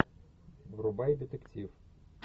врубай детектив